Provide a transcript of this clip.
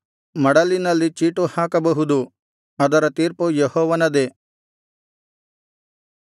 ಮಡಲಿನಲ್ಲಿ ಚೀಟು ಹಾಕಬಹುದು ಅದರ ತೀರ್ಪು ಯೆಹೋವನದೇ